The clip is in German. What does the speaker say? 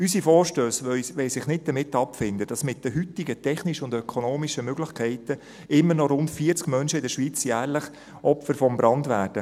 Unsere Vorstösse wollen sich nicht damit abfinden, dass mit den heutigen technischen und ökonomischen Möglichkeiten immer noch rund 40 Menschen in der Schweiz jährlich Opfer eines Brandes werden.